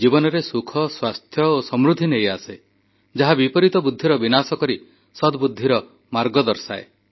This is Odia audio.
ଏହି ଶ୍ଳୋକରେ କୁହାଯାଇଛି ଆଲୋକ ଜୀବନରେ ସୁଖ ସ୍ୱାସ୍ଥ୍ୟ ଓ ସମୃଦ୍ଧି ନେଇ ଆସେ ଯାହା ବିପରୀତ ବୁଦ୍ଧିର ବିନାଶ କରି ସଦବୁଦ୍ଧିର ମାର୍ଗ ଦର୍ଶାଏ